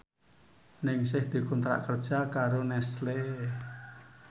Ningsih dikontrak kerja karo Nestle